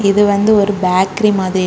இது வந்து ஒரு பேக்கரி மாதிரி.